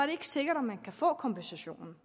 det ikke sikkert at man kan få kompensationen